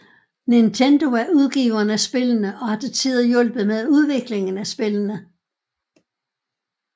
Nintendo er udgiveren af spillene og har til tider hjulpet med udviklingen af spillene